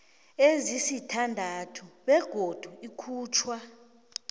ezisithandathu begodu ikhutjhwa